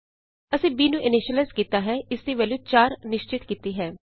ਅਸੀਂ b ਨੂੰ initialize ਕੀਤਾ ਹੈ ਇਸ ਦੀ ਵੈਲਯੂ 4 ਨਿਸ਼ਚਿਤ ਕੀਤੀ ਹੈ